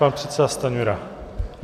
Pan předseda Stanjura.